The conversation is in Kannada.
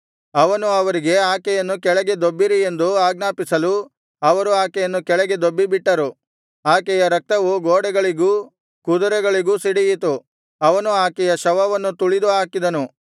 ಅವನು ಅವರಿಗೆ ಆಕೆಯನ್ನು ಕೆಳಗೆ ದೊಬ್ಬಿರಿ ಎಂದು ಆಜ್ಞಾಪಿಸಲು ಅವರು ಆಕೆಯನ್ನು ಕೆಳಗೆ ದೊಬ್ಬಿಬಿಟ್ಟರು ಆಕೆಯ ರಕ್ತವು ಗೋಡೆಗಳಿಗೂ ಕುದುರೆಗಳಿಗೂ ಸಿಡಿಯಿತು ಅವನು ಆಕೆಯ ಶವವನ್ನು ತುಳಿದು ಹಾಕಿದನು